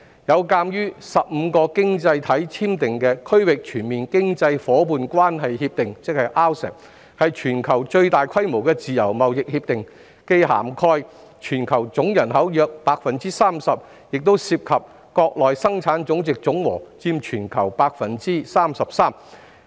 有鑒於個經濟體簽訂《區域全面經濟伙伴關係協定》，是全球最大規模的自由貿易協定，既涵蓋全球總人口約 30%， 亦涉及國內生產總值總和佔全球 33%。